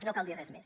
no cal dir res més